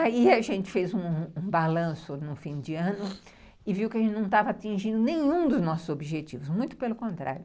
Aí a gente fez um um balanço no fim de ano e viu que a gente não estava atingindo nenhum dos nossos objetivos, muito pelo contrário.